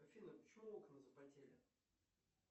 афина почему окна запотели